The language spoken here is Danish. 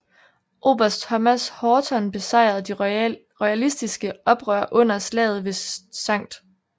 Oberst Thomas Horton besejrede de royalistiske oprørere under slaget ved St